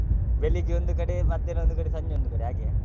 ಬೆಳ್ಳಿಗ್ಗೆ ಒಂದು ಕಡೆ ಮಧ್ಯಾಹ್ನ ಒಂದು ಕಡೆ ಸಂಜೆ ಒಂದು ಕಡೆ ಹಾಗೆಯಾ?